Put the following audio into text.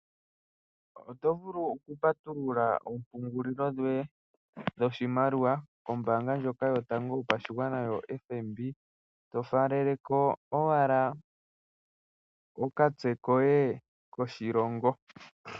Oto vulu oku patuluka oompungulili dhoye dhoshimaliwa nombanga yotango yopashigwana ano FNB, to faleleko owala okamutse koye koshilongo.